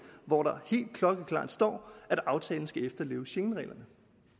hvor der helt klokkeklart står at aftalen skal efterleve schengenreglerne